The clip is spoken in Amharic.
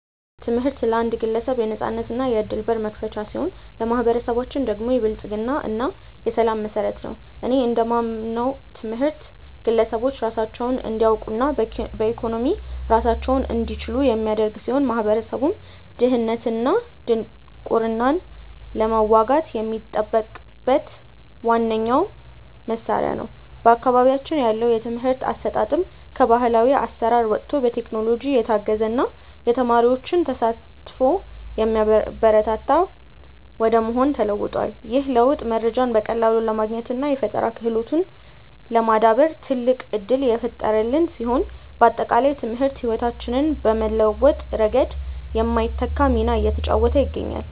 ትምህርት ለአንድ ግለሰብ የነፃነትና የዕድል በር መክፈቻ ሲሆን፣ ለማኅበረሰባችን ደግሞ የብልጽግና እና የሰላም መሠረት ነው። እኔ እንደማምነው ትምህርት ግለሰቦች ራሳቸውን እንዲያውቁና በኢኮኖሚ ራሳቸውን እንዲችሉ የሚያደርግ ሲሆን፣ ማኅበረሰቡም ድህነትንና ድንቁርናን ለመዋጋት የሚጠቀምበት ዋነኛው መሣሪያ ነው። በአካባቢያችን ያለው የትምህርት አሰጣጥም ከባሕላዊ አሠራር ወጥቶ በቴክኖሎጂ የታገዘና የተማሪዎችን ተሳትፎ የሚያበረታታ ወደ መሆን ተለውጧል። ይህ ለውጥ መረጃን በቀላሉ ለማግኘትና የፈጠራ ክህሎትን ለማዳበር ትልቅ ዕድል የፈጠረልን ሲሆን፣ ባጠቃላይ ትምህርት ሕይወታችንን በመለወጥ ረገድ የማይተካ ሚና እየተጫወተ ይገኛል።